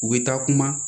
U bɛ taa kuma